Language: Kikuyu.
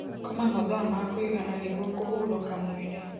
Koma mathaa ma kuigana nĩguo kũhũrũka mwĩrĩ